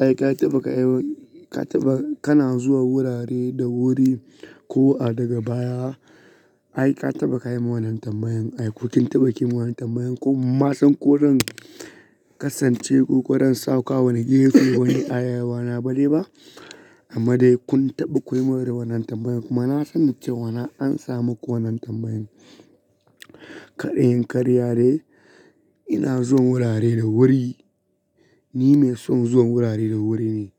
Ai ka taba kai, ka taba kana zuwa wurare da wuri ko a daga baya? Ai ka taba ka yi wannan tambayan. Ai ko kin taba ki yi wannan tambayan ko ma zan ko zan kasance kuka ran sauka wani gefe wani ayawana bane ba? Amma dai kun taɓa ku yi ma wuri wannan tambayan kuma na san nake cewa na ansa muku wannan tambayan. Kar in karye dai ina zuwa wurare da wuri, ni mai son zuwa wurare da wuri ne.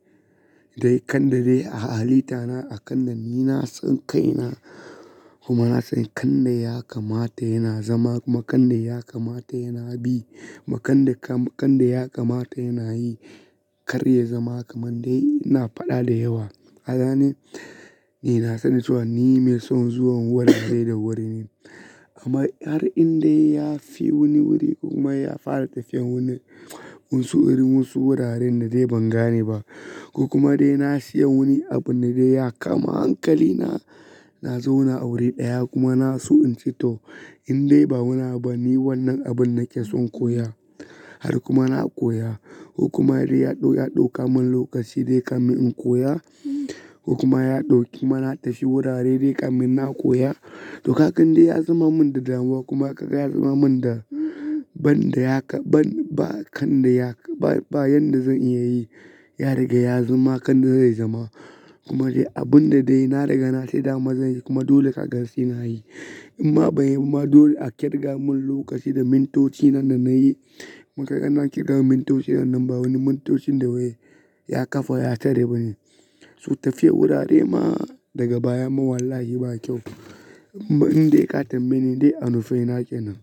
Dai kanda dai a halitta na a kanda ni na tsinka ina kuma na sani kanda ya kamata yana zama, ma kanda ya kamata yana bi, ma kanda ka kanda ya kamata yana yi. Kar ya zama kamar dai ina faɗa da yawa. Kagane, ni na sani cewa ni mai son zuwan wurare da wuri ne. Amma har in dai ya fi wani wuri kuma ya fara tafiyar wuri, mun su iri wasu wuraren da dai ban gane ba. Ku kuma dai na siya wani abun da dai ya kama hankali na, na zauna a wuri ɗaya kuma na so in ce to in dai ba wani abu ne wannan abun nake son koya. Har kuma na koya. Kuma dai ya ɗau ya ɗauka mun lokaci dai kamin in koya. Kuma ya ɗau kuma na tafi wurare dai kamar ina koya. To kan de ya zama mun da damuwa kuma ka ga ya zama mun da ban da ya ka ban ba kanda ya ba bayan da zan iya yi. Ya riga ya zama kande zai zama. Kuma dai abun da dai na riga na ce dama zan yi kuma dole ka ga sai nayi. Amma bai yi kuma dole a kirga mun lokaci da mintoci nan da nayi. Ma kagan nan kirga mintoci nan ba wani mintocin da wai ya kafa ya tarar ba ne. Su tafiya wurare ma daga baya mu wallahi ba kyau. Amma in dai ka tambaye ni dai a nufina kenan.